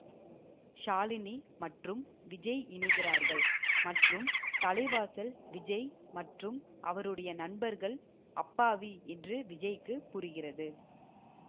ஷாலினி மற்றும் விஜய் இணைகிறார்கள் மற்றும் தலைவாசல் விஜய் மற்றும் அவருடைய நண்பர்கள் அப்பாவி என்று விஜய்க்கு புரிகிறது